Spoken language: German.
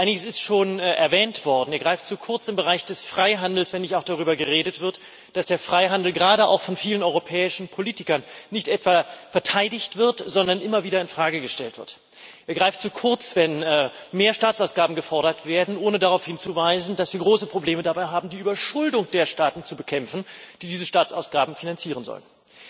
Einiges ist schon erwähnt worden Er greift zu kurz im Bereich des Freihandels, wenn nicht auch darüber geredet wird, dass der Freihandel gerade auch von vielen europäischen Politikern nicht etwa verteidigt, sondern immer wieder in Frage gestellt wird. Er greift zu kurz, wenn mehr Staatsausgaben gefordert werden, ohne darauf hinzuweisen, dass wir große Probleme dabei haben, die Überschuldung der Staaten zu bekämpfen, die diese Staatsausgaben finanzieren sollen.